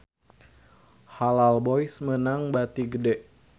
Halal Boys meunang bati gede